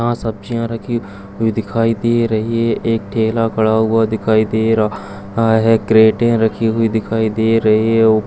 यहां सब्जियाँ रखी हुई दिखाई दे रही हैं एक ठेला खड़ा हुआ दिखाई दे रहा है क्रेटे रखी हुई दिखाई दे रही हैं।